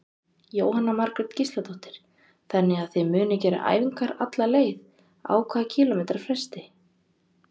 Jóhanna Margrét Gísladóttir: Þannig að þið munuð gera æfingar alla leið, á hvað kílómetra fresti?